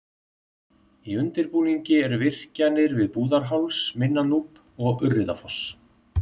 Í undirbúningi eru virkjanir við Búðarháls, Minna-Núp og Urriðafoss.